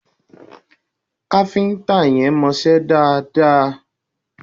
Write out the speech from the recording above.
Kafinta yẹn mo ṣe dáadáa